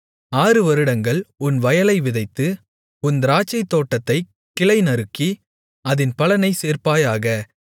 ஆறுவருடங்கள் உன் வயலை விதைத்து உன் திராட்சைத்தோட்டத்தைக் கிளைநறுக்கி அதின் பலனைச் சேர்ப்பாயாக